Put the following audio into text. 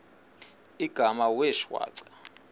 igama wee shwaca